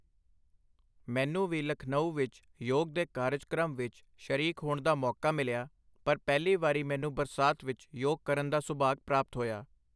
ਮੈਨੂੰ ਵੀ ਲਖਨਊ ਵਿੱਚ ਯੋਗ ਦੇ ਕਾਰਜਕ੍ਰਮ ਵਿੱਚ ਸ਼ਰੀਕ ਹੋਣ ਦਾ ਮੌਕਾ ਮਿਲਿਆ, ਪਰ ਪਹਿਲੀ ਵਾਰੀ ਮੈਨੂੰ ਬਰਸਾਤ ਵਿੱਚ ਯੋਗ ਕਰਨ ਦਾ ਸੁਭਾਗ ਪ੍ਰਾਪਤ ਹੋਇਆ।